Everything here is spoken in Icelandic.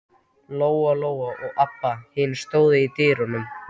Lóa Lóa og Abba hin stóðu í dyrunum.